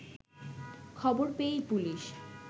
খবর পেয়েই পুলিশ